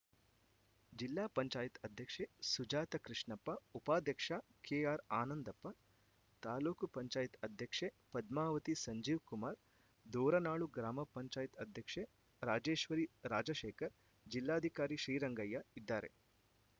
ಜಿಲ್ಲಾ ಪಂಚಾಯತ್ ಅಧ್ಯಕ್ಷೆ ಸುಜಾತ ಕೃಷ್ಣಪ್ಪ ಉಪಾಧ್ಯಕ್ಷ ಕೆಆರ್‌ಆನಂದಪ್ಪ ತಾಲೂಕು ಪಂಚಾಯತ್ ಅಧ್ಯಕ್ಷೆ ಪದ್ಮಾವತಿ ಸಂಜೀವ್‌ಕುಮಾರ್‌ ದೋರನಾಳು ಗ್ರಾಮ ಪಂಚಾಯತ್ ಅಧ್ಯಕ್ಷೆ ರಾಜೇಶ್ವರಿ ರಾಜಶೇಖರ್‌ ಜಿಲ್ಲಾಧಿಕಾರಿ ಶ್ರೀರಂಗಯ್ಯ ಇದ್ದಾರೆ